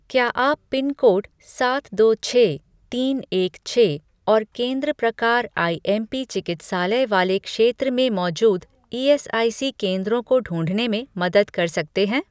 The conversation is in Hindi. क्या आप पिनकोड सात दो छह तीन एक छह और केंद्र प्रकार आईएमपी चिकित्सालय वाले क्षेत्र में मौजूद ईएसआईसी केंद्रों को ढूँढने में मदद कर सकते हैं?